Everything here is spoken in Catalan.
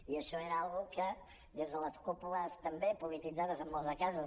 i això era una cosa que des de les cúpules també polititzades en molts casos